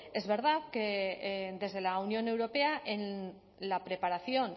es verdad que desde la unión europea en la preparación